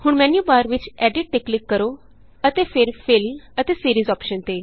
ਹੁਣ ਮੈਨਯੂਬਾਰ ਵਿਚEditਤੇ ਕਲਿਕ ਕਰੋ ਅਤੇ ਫਿਰFillਅਤੇ Seriesਅੋਪਸ਼ਨ ਤੇ